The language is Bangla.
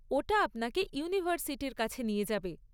ওটা আপনাকে ইউনিভার্সিটির কাছে নিয়ে যাবে।